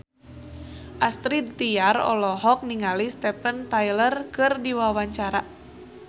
Astrid Tiar olohok ningali Steven Tyler keur diwawancara